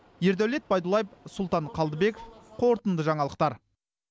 ердәулет байдуллаев сұлтан қалдыбеков қорытынды жаңалықтар